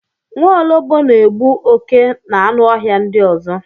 Nwaọlọgbọ na-egbu oke na anụ ọhịa ndị ọzọ